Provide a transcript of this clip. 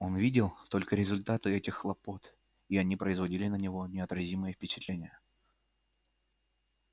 он видел только результаты этих хлопот и они производили на него неотразимое впечатление